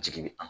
Jigi an